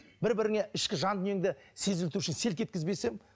бір біріңе ішкі жан дүниеңді сезілту үшін селт еткізбесең